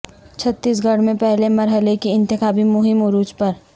چھتیس گڑھ میں پہلے مرحلے کی انتخابی مہم عروج پر